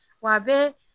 Wa a bɛ